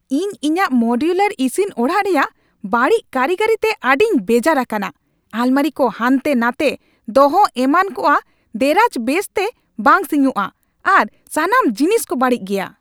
ᱤᱧ ᱤᱧᱟᱹᱜ ᱢᱳᱰᱤᱭᱳᱞᱟᱨ ᱤᱥᱤᱱ ᱚᱲᱟᱜ ᱨᱮᱭᱟᱜ ᱵᱟᱹᱲᱤᱡ ᱠᱟᱹᱨᱤᱜᱚᱨᱤ ᱛᱮ ᱟᱹᱰᱤᱧ ᱵᱮᱡᱟᱨ ᱟᱠᱟᱱᱟ ᱾ ᱟᱞᱢᱟᱨᱤ ᱠᱚ ᱦᱟᱱᱛᱮᱼᱱᱟᱛᱮ ᱫᱚᱦᱚ ᱮᱢᱱᱟᱜᱼᱟ, ᱫᱮᱨᱟᱡᱽ ᱵᱮᱥ ᱛᱮ ᱵᱟᱝ ᱥᱤᱧᱚᱜᱼᱟ, ᱟᱨ ᱥᱟᱱᱟᱢ ᱡᱤᱱᱤᱥ ᱠᱚ ᱵᱟᱹᱲᱤᱡ ᱜᱮᱭᱟ ᱾